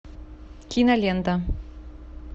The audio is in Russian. кинолента